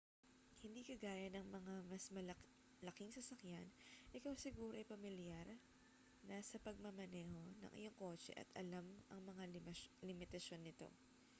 hindi kagaya ng mas malalaking sasakyan ikaw siguro ay pamilyar na sa pagmamaneho ng iyong kotse at alam ang mga limitasyon nito